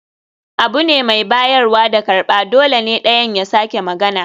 Abu ne mai bayarwa da karɓa, dole ne ɗayan ya sake magana